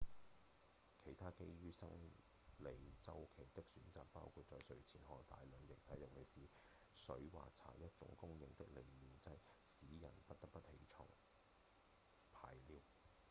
其他基於生理週期的選擇包括在睡前喝下大量液體尤其是水或茶一種公認的利尿劑使人不得不起床排尿